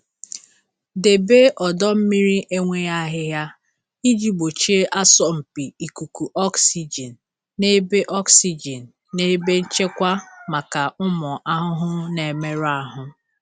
Debe ọdọ mmiri enweghị ahịhịa iji gbochie asọmpi ikuku oxygen na ebe oxygen na ebe nchekwa maka ụmụ ahụhụ na-emerụ ahụ.